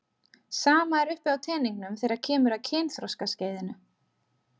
Sama er uppi á teningnum þegar kemur að kynþroskaskeiðinu.